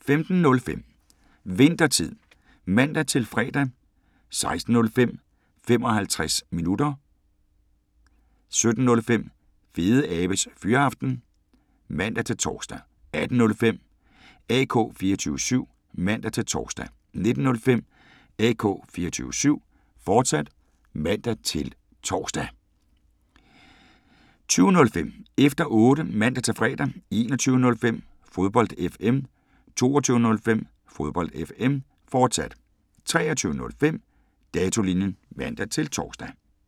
15:05: Winthertid (man-fre) 16:05: 55 minutter (man-tor) 17:05: Fedeabes Fyraften (man-tor) 18:05: AK 24syv (man-tor) 19:05: AK 24syv, fortsat (man-tor) 20:05: Efter Otte (man-fre) 21:05: Fodbold FM 22:05: Fodbold FM, fortsat 23:05: Datolinjen (man-tor)